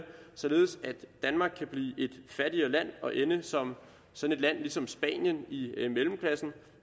således at danmark kan blive et fattigere land og ende som som et land ligesom spanien i mellemklassen